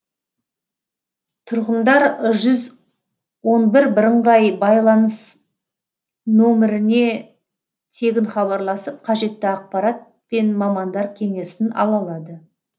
тұрғындар жүз он бір бірыңғай байланыс нөміріне тегін хабарласып қажетті ақпарат пен мамандар кеңесін ала алады